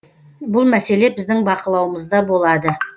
бұл мәселе біздің бақылауымызда болады